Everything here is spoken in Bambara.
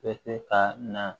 Bɛ se ka na